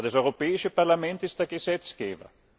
Aber das Europäische Parlament ist der Gesetzgeber.